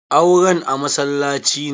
Auren a masallaci ne?